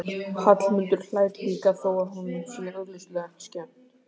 Hallmundur hlær líka þó að honum sé augljóslega ekki skemmt.